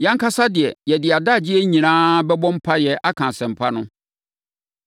Yɛn ankasa de, yɛde yɛn adagyeɛ nyinaa bɛbɔ mpaeɛ aka Asɛmpa no.”